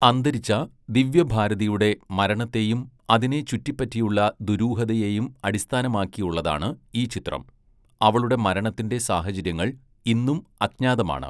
അന്തരിച്ച ദിവ്യഭാരതിയുടെ മരണത്തെയും അതിനെ ചുറ്റിപ്പറ്റിയുള്ള ദുരൂഹതയെയും അടിസ്ഥാനമാക്കിയുള്ളതാണ് ഈ ചിത്രം, അവളുടെ മരണത്തിന്റെ സാഹചര്യങ്ങൾ ഇന്നും അജ്ഞാതമാണ്.